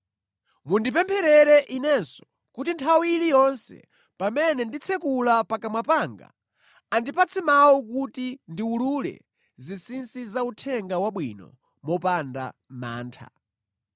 Mundipempherere inenso, kuti nthawi iliyonse pamene nditsekula pakamwa panga, andipatse mawu kuti ndiwulule zinsinsi za Uthenga Wabwino mopanda mantha.